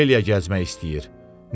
Ofeliya gəzmək istəyir.